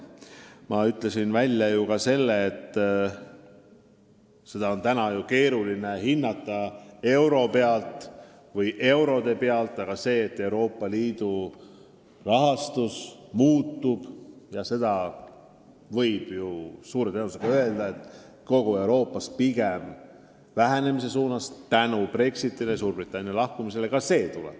Ma ütlesin, et uut olukorda on eurode hulga mõttes praegu keeruline hinnata, aga seda võib kindlalt väita, et Euroopa Liidu rahastus muutub kogu ühenduses pigem vähenemise suunas – just Brexiti, Suurbritannia lahkumise tõttu.